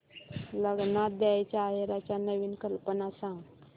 लग्नात द्यायला आहेराच्या नवीन कल्पना सांग